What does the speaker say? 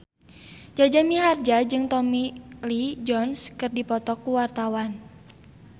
Jaja Mihardja jeung Tommy Lee Jones keur dipoto ku wartawan